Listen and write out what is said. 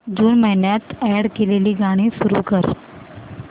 जून महिन्यात अॅड केलेली गाणी सुरू कर